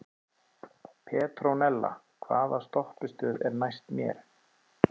Petrónella, hvaða stoppistöð er næst mér?